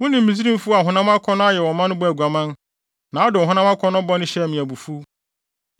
Wo ne Misraimfo a honam akɔnnɔ ayɛ wɔn ma no bɔɔ aguaman, na wode honam akɔnnɔ bɔne hyɛɛ me abufuw.